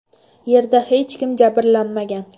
Yerda hech kim jabrlanmagan.